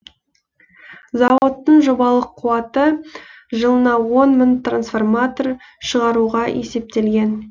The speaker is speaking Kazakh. зауыттың жобалық қуаты жылына он мың трансформатор шығаруға есептелген